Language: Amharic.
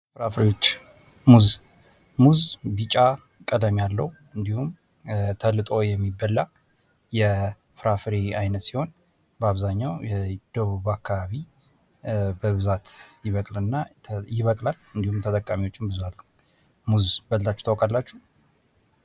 ፍራፍሬዎች ሙዝ:-ሙዝ ቢጫ ቀለም ያለው እንዲሁም ተልጦ የሚበላ የፍራፍሬ አይነት ሲሆን በአብዛኛው ደቡብ አካባቢ በብዛት ይበቅላል እና እንዲሁም ተጠቃሚዎቹ ብዙ አሉ። ሙዝ በልታችሁ ታውቃላችሁ?